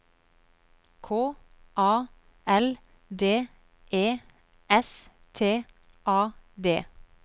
K A L D E S T A D